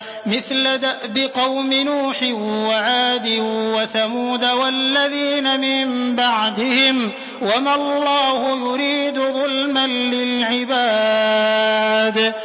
مِثْلَ دَأْبِ قَوْمِ نُوحٍ وَعَادٍ وَثَمُودَ وَالَّذِينَ مِن بَعْدِهِمْ ۚ وَمَا اللَّهُ يُرِيدُ ظُلْمًا لِّلْعِبَادِ